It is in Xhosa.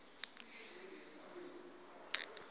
lakhe